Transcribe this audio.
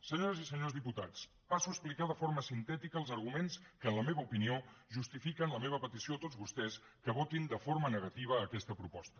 senyores i senyors diputats passo a explicar de forma sintètica els arguments que en la meva opinió justifiquen la meva petició a tots vostès que votin de forma negativa aquesta proposta